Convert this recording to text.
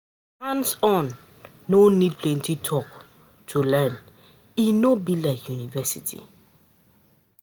Hands-on um no need plenty talk to um learn, e no be like university